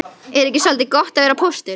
Er ekki soldið gott að vera póstur?